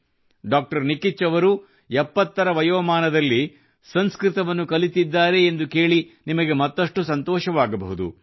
ಡಾ ನಿಕಿಚ್ ಅವರು 70 ರ ವಯೋಮಾನದಲ್ಲಿ ಸಂಸ್ಕೃತವನ್ನು ಕಲಿತಿದ್ದಾರೆ ಎಂದು ಕೇಳಿ ನಿಮಗೆ ಮತ್ತಷ್ಟು ಸಂತೋಷವಾಗಬಹುದು